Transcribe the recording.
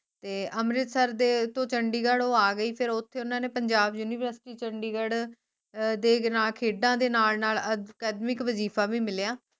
ਤੇ ਅਮ੍ਰਿਤਸਰ ਦੇ ਤੋਂ ਚੰਡੀਗੜ੍ਹ ਉਹ ਆ ਗਯੀ ਫੇਰ ਓਥੇ ਓਹਨਾ ਨੇ ਪੰਜਾਬ University ਚੰਡੀਗੜ੍ਹ ਦੇ ਨਾਲ ਖੇਡਾਂ ਦੇ ਨਾਲ ਨਾਲ academic ਵਜੀਫਾ ਵੀ ਮਿਲਿਆ